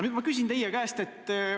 Nüüd ma küsin teie käest seda.